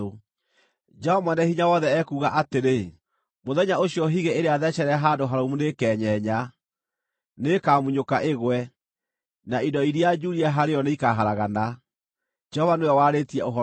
Jehova Mwene-Hinya-Wothe ekuuga atĩrĩ, “Mũthenya ũcio higĩ ĩrĩa thecerere handũ harũmu nĩĩkenyenya; nĩĩkamunyũka ĩgwe, na indo iria njuurie harĩ yo nĩikaharagana.” Jehova nĩwe warĩtie ũhoro ũcio.